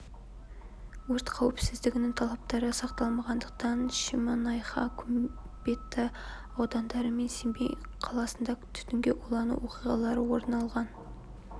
өрт қауіпсіздігінің талаптары сақталмағандықтан шемонайха көкпекті аудандары мен семей қаласында түтінге улану оқиғалары орын алған